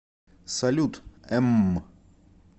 салют эмм